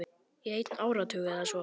Í einn áratug eða svo.